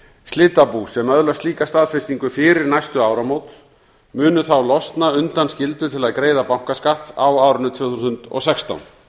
slitabú sem öðlast slíka staðfestingu fyrir næstu áramót munu þá losna undan skyldu til að greiða bankaskatt á árinu tvö þúsund og sextán